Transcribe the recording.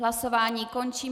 Hlasování končím.